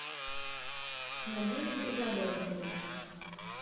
надежде жаворонковой